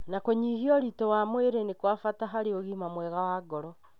Na kũnyihia ũritũ wa mwĩrĩ nĩ kwa bata harĩ ũgima mwega wa ngoro.